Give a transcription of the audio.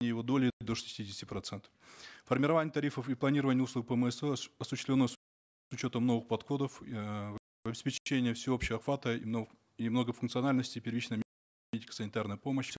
его доли до шестидесяти процентов формирование тарифов и планирование услуг пмсо осуществлено с учетом новых подходов э всеобщего охвата и и многофункциональности первичной медико санитарной помощи